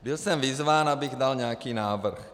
Byl jsem vyzván, abych dal nějaký návrh.